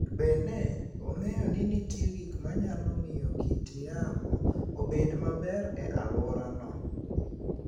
Bende, ong'eyo ni nitie gik ma nyalo miyo kit yamo obed maber e alworano.